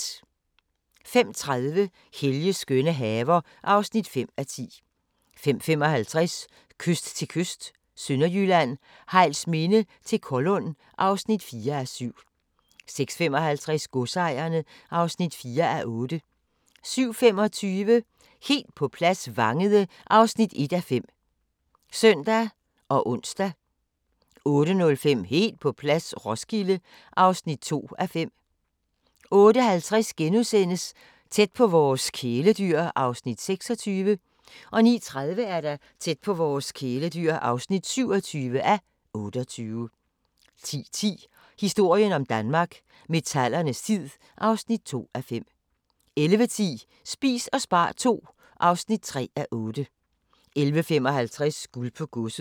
05:30: Helges skønne haver (5:10) 05:55: Kyst til kyst – Sønderjylland, Hejlsminde til Kollund (4:7) 06:55: Godsejerne (4:8) 07:25: Helt på plads – Vangede (1:5)(søn og ons) 08:05: Helt på plads - Roskilde (2:5) 08:50: Tæt på vores kæledyr (26:28)* 09:30: Tæt på vores kæledyr (27:28) 10:10: Historien om Danmark: Metallernes tid (2:5) 11:10: Spis og spar II (3:8) 11:55: Guld på Godset